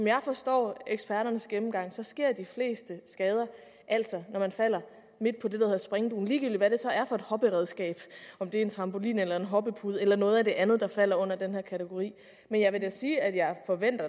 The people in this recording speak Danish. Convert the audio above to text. jeg forstår eksperternes gennemgang så sker de fleste skader altså når man falder midt på det der hedder springdugen ligegyldigt hvad det så er for et hopperedskab om det er en trampolin eller en hoppepude eller noget af det andet der falder ind under den her kategori men jeg vil da sige at jeg